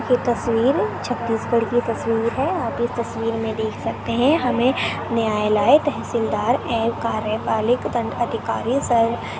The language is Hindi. ये तस्वीर छत्तीसगढ़ की तस्वीर है आप इस तसवीर में देख सकते है हमे न्यायालय तहसीलदार एवं कार्यपालिक दंड अधिकारी शर --